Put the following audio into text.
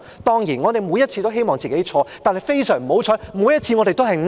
當然，我們每次都希望自己的預測錯，但非常不幸，我們每次的預測都是對的。